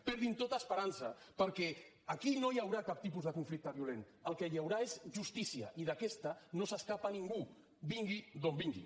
perdin tota esperança perquè aquí no hi haurà cap tipus de conflicte violent el que hi haurà és justícia i d’aquesta no s’escapa ningú vingui d’on vingui